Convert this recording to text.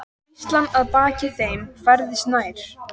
Hríslan að baki þeim færðist nær.